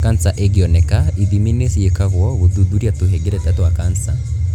kanca ĩngĩoneka, ithimi nĩ ciĩkagwo gũthuthuria tũhengereta twa kanca.